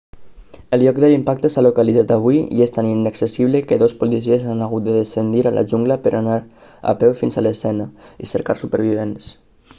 el lloc de l'impacte s'ha localitzat avui i és tan inaccessible que dos policies han hagut de descendir a la jungla per anar a peu fins a l'escena i cercar supervivents